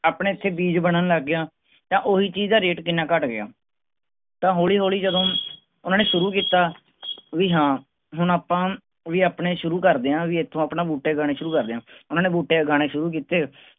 ਆਪਣੇ ਇਥੇ ਬੀਜ ਬਨਣ ਲੱਗ ਗਿਆ ਤਾਂ ਓਹੀ ਚੀਜ਼ ਦਾ ਕਿੰਨਾ ਘਟ ਗਿਆ ਤਾਂ ਹੌਲੀ ਹੌਲੀ ਜਦੋਂ ਓਹਨਾ ਨੇ ਸ਼ੁਰੂ ਕਿੱਤਾ ਵੀ ਹਾਂ ਹੁਣ ਆਪਾਂ ਵੀ ਆਪਣੇ ਸ਼ੁਰੂ ਕਰਦੇ ਆਂ ਵੀ ਇਥੋਂ ਆਪਣਾ ਬੂਟੇ ਉਗਾਉਣੇ ਸ਼ੁਰੂ ਕਰਦੇ ਆਂ ਓਹਨਾ ਨੇ ਬੂਟੇ ਉਗਾਉਣੇ ਸ਼ੁਰੂ ਕਿੱਤੇ